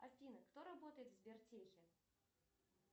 афина кто работает в сбертехе